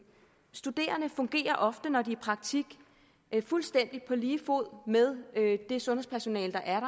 studerende fungerer ofte når de er i praktik fuldstændig på lige fod med det sundhedspersonale der er